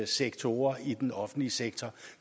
sektorer i den offentlige sektor